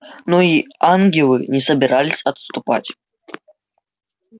но и ангелы не собирались отступать